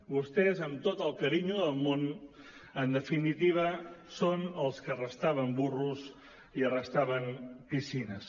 vostès amb tot el carinyo del món en definitiva són els que arrestaven burros i arrestaven piscines